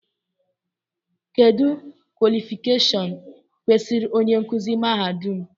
Kedụ kwọlịfịkashọn kwesịrị onye nkuzi mahadum?